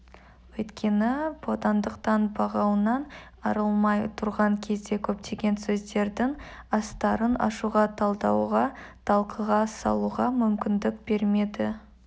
өйткені бодандықтың бұғауынан арылмай тұрған кезде көптеген сөздердің астарын ашуға талдауға талқыға салуға мүмкіндік бермеді